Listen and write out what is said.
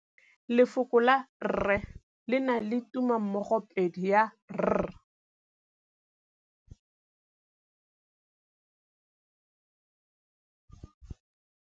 Lefoko la rre le na le tumammogôpedi ya, r.